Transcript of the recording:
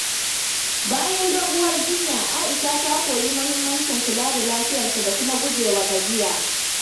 Bayan doguwar jinya, Aisha ta koyi mahimmancin kula da lafiyarta da kuma guje wa gajiya.